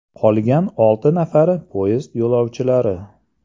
Qolgan olti nafari poyezd yo‘lovchilari.